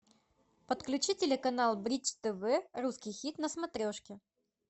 подключи телеканал бридж тв русский хит на смотрешке